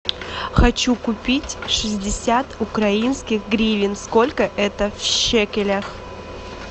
хочу купить шестьдесят украинских гривен сколько это в шекелях